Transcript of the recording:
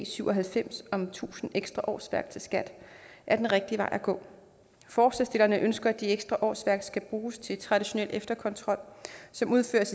syv og halvfems om tusind ekstra årsværk til skat er den rigtige vej at gå forslagsstillerne ønsker at de ekstra årsværk skal bruges til traditionel efterkontrol som udføres